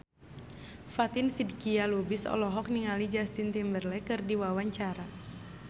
Fatin Shidqia Lubis olohok ningali Justin Timberlake keur diwawancara